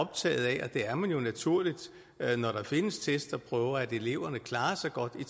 det er man jo naturligt når der findes test og prøver at eleverne klarer sig godt i